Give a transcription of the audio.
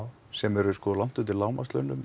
sem eru langt undir lágmarkslaunum